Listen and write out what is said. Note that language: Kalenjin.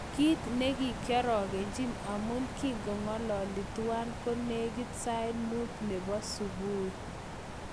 Kit nekiorogenchin amun koki'ngolole tuwan ko nekit sait mut nebo subui.